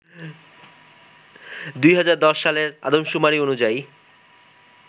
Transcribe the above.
২০১০ সালের আদমশুমারি অনুযায়ী